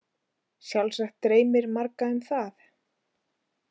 Sjálfsagt dreymir marga um það.